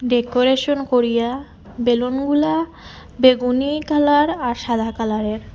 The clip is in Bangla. ডেকোরেশন করিয়া বেলুনগুলা বেগুনী কালার আর সাদা কালারের।